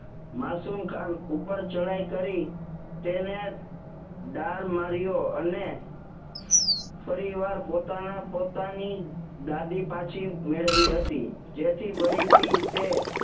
માસુમ ખાન ઉપર ચડાઈ કરી તેને ડાળ માર્યો અને ફરીવાર પોતાના પોતાની ગાદી પાછી મેળવી હતી જેથી ફરીથી તે